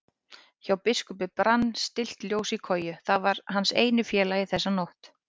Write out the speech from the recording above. Hjá biskupi brann stillt ljós í kolu, það var hans eini félagi þessa nótt.